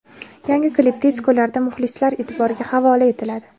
Yangi klip tez kunlarda muxlislar e’tiboriga havola etiladi.